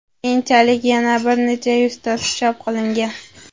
Keyinchalik yana bir necha yuztasi chop qilingan.